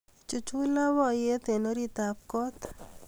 Ichuch labkayte eng oritab kot